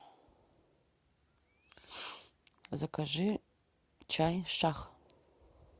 закажи чай шах